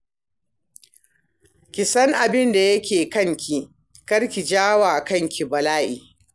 Ki san abin da yake kanki, kar ki ja wa kanki bala'i.